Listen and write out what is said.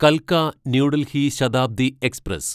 കൽക്ക New Delhi Shatabdi express